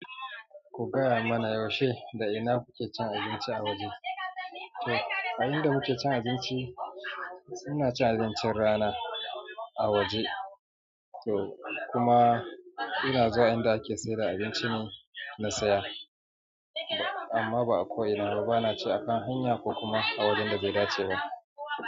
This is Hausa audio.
Ku gaya mana yaushe da ina kuke cin abinci a waje? To, ayan da muke cin abinci, ina cin abincin rana a waje. To kuma ina zuwa inda ake sayar da abincine na saya, amma ba a ko ina ba. Ba na ci akan hanya ko kuma a wajen da bai dace ba.